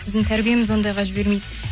біздің тәрбиеміз ондайға жібермейді